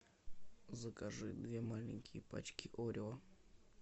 закажи две маленькие пачки орео